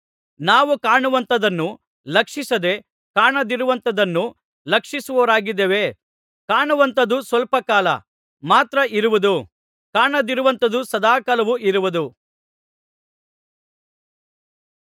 ನಾವು ಕಾಣುವಂಥದ್ದನ್ನು ಲಕ್ಷಿಸದೇ ಕಾಣದಿರುವಂಥದ್ದನ್ನು ಲಕ್ಷಿಸುವವರಾಗಿದ್ದೇವೆ ಕಾಣುವಂಥದ್ದು ಸ್ವಲ್ಪ ಕಾಲ ಮಾತ್ರ ಇರುವುದು ಕಾಣದಿರುವಂಥದ್ದು ಸದಾಕಾಲವೂ ಇರುವುದು